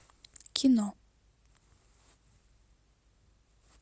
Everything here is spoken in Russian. кино